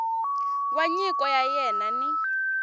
wa nyiko ya wena ni